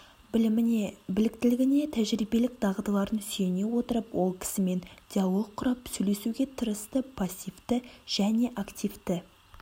біліміне біліктілігіне тәжірибелік дағдыларын сүйене отырып ол кісімен диалог құрап сөйлесуге тырысты пассивті және активті